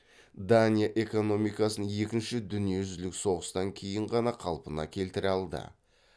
дания экономикасын екінші дүниежүзілік соғыстан кейінғана қалпына келтіре алды